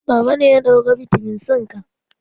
Baba ne ya ɗauki bitamin C ka